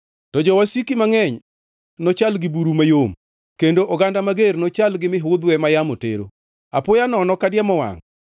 To jowasiki mangʼeny nochal gi buru mayom, kendo oganda mager nochal gi mihudhwe ma yamo tero. Apoya nono, ka diemo wangʼ,